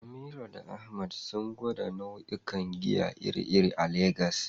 Amira da Ahmad sun gwada nau'ikan giya iri-iri a Legas.